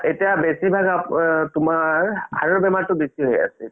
এতিয়া বেচি ভাগ তুমাৰ heart ৰ বেমাৰতো বেচি হয় আছে এতিয়া